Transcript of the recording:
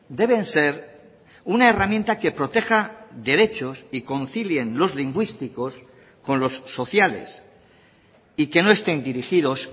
deben ser una herramienta que proteja derechos y concilien los lingüísticos con los sociales y que no estén dirigidos